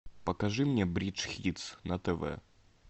покажи мне бридж хитс на тв